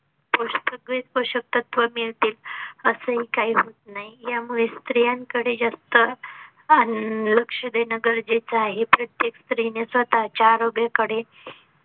पोषक तत्वे सगळे पोषक तत्वे मिळते असं काही होत नाही. यामुळे स्त्रियां कडे जास्त अं लक्ष देणं गरजेचं आहे. प्रत्येक स्त्री ने स्वतः च्या आरोग्याकडे.